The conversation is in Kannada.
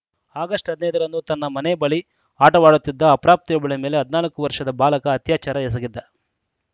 ಆಗಸ್ಟ್ ಹದಿನೈದ ರಂದು ತನ್ನ ಮನೆ ಬಳಿ ಆಟವಾಡುತ್ತಿದ್ದ ಅಪ್ರಾಪ್ತೆಯೊಬ್ಬಳ ಮೇಲೆ ಹದಿನಾಲ್ಕು ವರ್ಷದ ಬಾಲಕ ಅತ್ಯಾಚಾರ ಎಸಗಿದ್ದ